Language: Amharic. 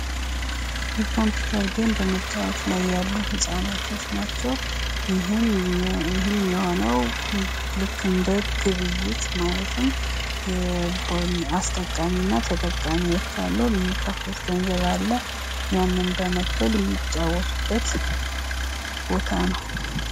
የኮምፒዩተር ጌም በመጫወት ላይ ያሉ ህጻናቶች ናቸው። ይህም የሆነው ልክ እንደ ግብይት ማለትም አስጠቀሚና ተጠቃሚዎች አሉ ።የሚከፍሉት ገንዘብ አለ። ያንን በመክፈል የሚጫወቱበት ቦታ ነው።